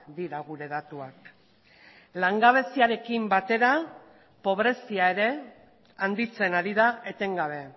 dira gure datuak langabeziarekin batera pobrezia ere handitzen ari da etengabe